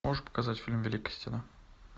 можешь показать фильм великая стена